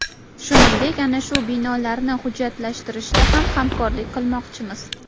Shuningdek, ana shu binolarni hujjatlashtirishda ham hamkorlik qilmoqchimiz.